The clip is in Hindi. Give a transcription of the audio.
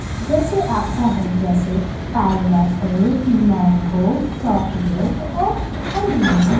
जैसे आप चाहे जैसे पाइनएप्प्ल मैंगो चॉकलेट और अन्य --